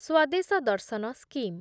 Swadesh Darshan scheme